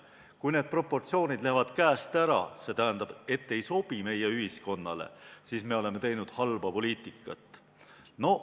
Kui proportsioonid lähevad käest ära, see tähendab, ei sobi meie ühiskonnale, siis me oleme teinud halba poliitikat.